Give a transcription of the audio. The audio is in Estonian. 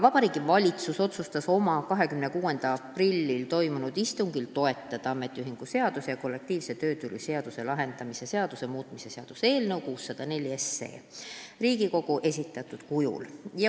Vabariigi Valitsus otsustas oma 26. aprillil toimunud istungil toetada ametiühingute seaduse ja kollektiivse töötüli lahendamise seaduse muutmise seaduse eelnõu 604 Riigikogu esitatud kujul.